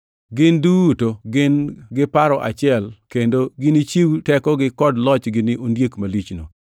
Gin duto gin gi paro achiel kendo ginichiw tekogi kod lochgi ni ondiek malichno.